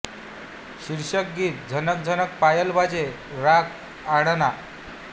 शीर्षक गीत झनक झनक पायल बाजे राग अडाणा